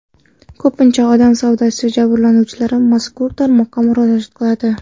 Ko‘pincha odam savdosi jabrlanuvchilari mazkur tarmoqqa murojaat qiladi.